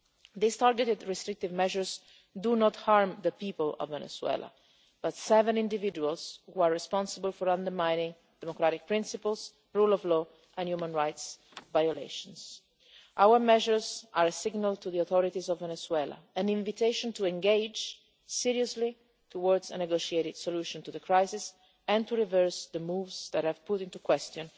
These targeted restrictive measures do not harm the people of Venezuela, but are directed at seven individuals who are responsible for undermining democratic principles and the rule of law and for human rights violations. Our measures are a signal to the authorities of Venezuela, an invitation to engage seriously towards a negotiated solution to the crisis and to reverse the moves that have called into question